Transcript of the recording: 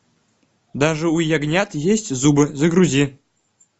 даже у ягнят есть зубы загрузи